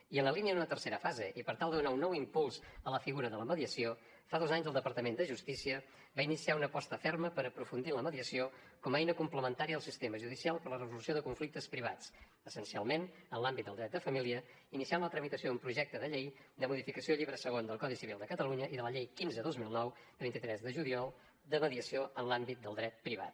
i en la línia d’una tercera fase i per tal de donar un nou impuls a la figura de la mediació fa dos anys el departament de justícia va iniciar una aposta ferma per aprofundir en la mediació com a eina complementària al sistema judicial per a la resolució de conflictes privats essencialment en l’àmbit del dret de família iniciant la tramitació d’un projecte de llei de modificació del llibre segon del codi civil de catalunya i de la llei quinze dos mil nou de vint tres de juliol de mediació en l’àmbit del dret privat